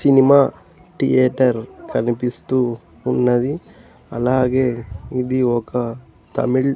cinema theatre కనిపిస్తూ ఉన్నది అలాగే ఇది ఒక తమిళ్ --